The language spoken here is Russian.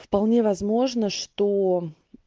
вполне возможно что